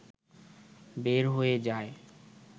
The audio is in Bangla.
বের হয়ে যায়